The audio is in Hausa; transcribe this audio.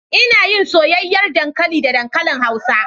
Ina yin soyayyar dankali da dankali hausa